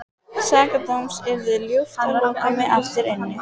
Sakadóms yrði ljúft að loka mig aftur inni.